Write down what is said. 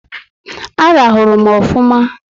A rahuru m ofụma